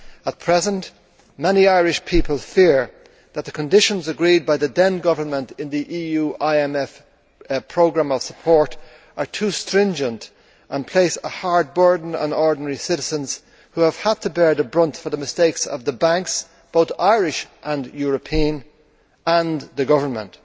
At present, many Irish people fear that the conditions agreed by the then government in the EU IMF programme of support are too stringent and place a heavy burden on ordinary citizens who have had to bear the brunt for the mistakes of the banks both Irish and European and the government.